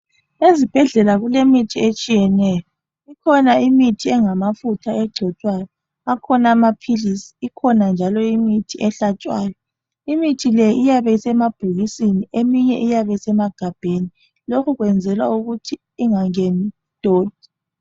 eZibhedlela kulemithi etshiyeneyo ikhona imithi engamafutha egcotshwayo, akhona amaphilisi ,ikhona njalo imithi ehlatshwayo imithi le iyabe isemabhokisini eminye iyabe isemagabheni lokhu ukwenzelwa ukuthi ingangeni idoti.